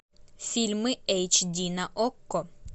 фильмы эйч ди на окко